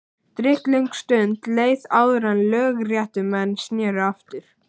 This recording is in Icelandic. Drykklöng stund leið áður en lögréttumenn sneru aftur.